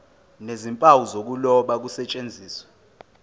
nezimpawu zokuloba kusetshenziswe